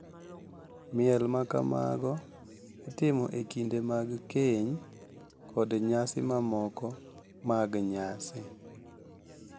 Miel ma kamago itimo e kinde mag keny kod nyasi mamoko mag nyasi.